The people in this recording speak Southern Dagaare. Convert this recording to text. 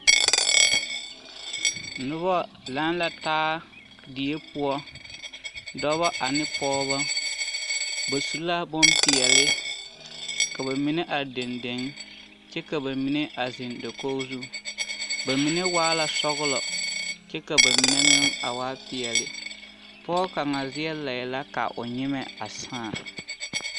Noba laŋ la taa die poɔ dɔbɔ ane pɔɔbɔ, ba su la bompeɛle ka bamine are dendeŋ kyɛ ka bamine a zeŋ dakogi zu bamine waa la sɔgelɔ kyɛ ka bamine meŋ a waa peɛle, pɔge kaŋa deɛ laɛ la ka o nyemɛ a sãã.